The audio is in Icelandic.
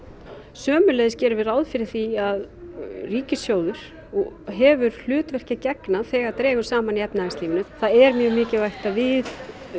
sömuleiðis gerum við ráð fyrir því að ríkissjóður hefur hlutverki að gegna þegar dregur saman í efnahagslífinu það er mjög mikilvægt að við